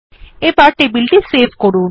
এখন টেবিলটি সেভ করুন